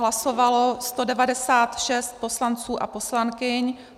Hlasovalo 196 poslanců a poslankyň.